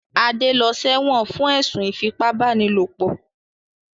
Adé lọ sẹ́wọ̀n fún ẹ̀sùn ìfípábánilòpọ̀.